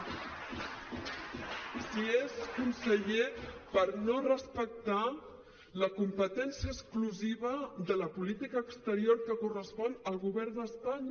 si és conseller per no respectar la competència exclusiva de la política exterior que correspon al govern d’espanya